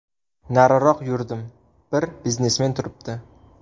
Nariroq yurdim, bir biznesmen turibdi.